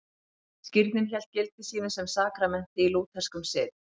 Skírnin hélt gildi sínu sem sakramenti í lútherskum sið.